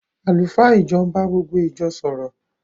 Àlùfáà ìjọ ń bá gbogbo ìjọ sọ̀rọ̀